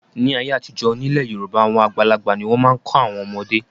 Ní ayé àtijọ́, nílẹ̀ Yorùbá àwọn àgbàlagbà ni wọ́n máa ń kọ́ àwọn ọmọdé.